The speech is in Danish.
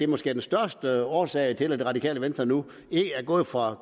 måske den største årsag til at det radikale venstre nu er gået fra at